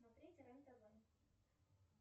смотреть рен тв